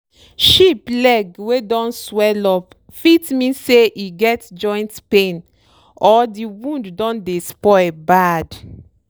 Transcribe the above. sheep leg wey don swellup fit mean say e get joint pain or di wound don dey spoil bad.